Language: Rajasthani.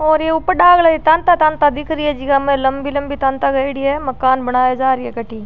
और ये ऊपर डागले रे ताँता ताँता दिख री है जीका में लम्बी लम्बी ताँता करेड़ी है मकान बनाये जा री है कटाई।